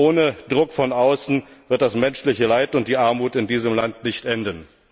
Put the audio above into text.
Ohne Druck von außen werden das menschliche Leid und die Armut in diesem Land nicht enden.